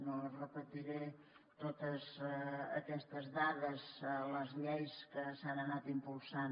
no repetiré totes aquestes dades les lleis que s’han anat impulsant